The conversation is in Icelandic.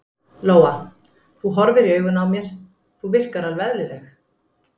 Lóa: Þú horfir í augun á mér, þú virkar alveg eðlileg?